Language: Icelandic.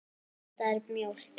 Þetta er mjólk.